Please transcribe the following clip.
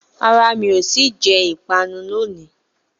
rárá, mi ò tíì jẹ ìpanu lónìí